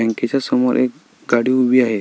बँकेच्या समोर एक गाडी उभी आहे.